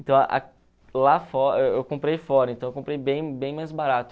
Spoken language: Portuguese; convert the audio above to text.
Então, lá eu comprei fora, então eu comprei bem bem mais barato.